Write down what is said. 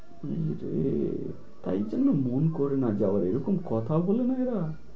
হম রে তাই জন্য মন করে না যাওয়ার এরকম কথা বলে না এরা?